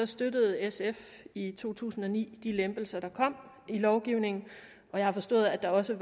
støttede sf i to tusind og ni de lempelser der kom i lovgivningen og jeg har forstået at der også